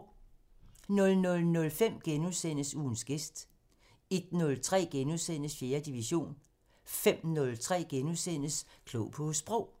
00:05: Ugens gæst * 01:03: 4. division * 05:03: Klog på Sprog *